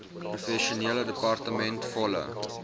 professionele departement volle